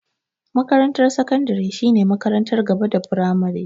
Makarantar sakandare shine makarantar gaba da firamare.